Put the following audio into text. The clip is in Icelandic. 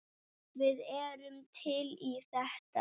Við erum til í þetta.